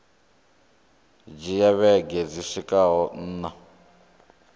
dzhia vhege dzi swikaho nṋa